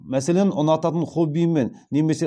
мәселен ұнататын хоббиімен немесе